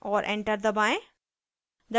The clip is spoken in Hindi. और enter दबाएं